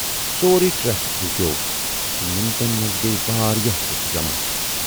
سورُے ٹریفک رُکیوو تہٕ مِنٹن منز گٔیہِ واریاہ لوٗکھ جمع۔